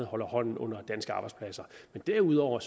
holder hånden under danske arbejdspladser men derudover